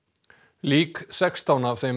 lík sextán af þeim